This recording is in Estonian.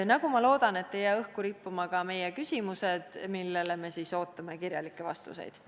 Ja ma loodan, et ei jää õhku rippuma ka meie küsimused, millele me siis ootame kirjalikke vastuseid.